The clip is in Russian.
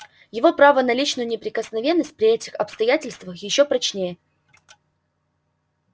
его право на личную неприкосновенность при этих обстоятельствах ещё прочнее